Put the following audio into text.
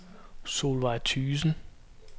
Solveig Thygesen